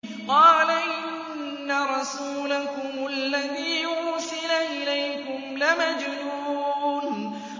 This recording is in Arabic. قَالَ إِنَّ رَسُولَكُمُ الَّذِي أُرْسِلَ إِلَيْكُمْ لَمَجْنُونٌ